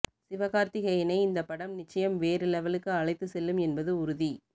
சிவகார்த்திகேயனை இந்த படம் நிச்சயம் வேறு லெவலுக்கு அழைத்து செல்லும் என்பது உறுதி